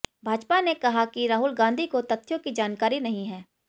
भाजपा ने कहा कि राहुल गांधी को तथ्यों की जानकारी नहीं है